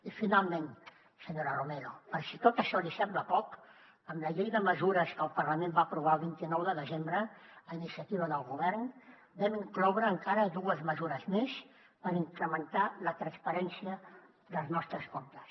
i finalment senyora romero per si tot això li sembla poc en la llei de mesures que el parlament va aprovar el vint nou de desembre a iniciativa del govern vam incloure encara dues mesures més per incrementar la transparència dels nostres comptes